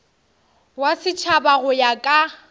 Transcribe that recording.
wa setšhaba go ya ka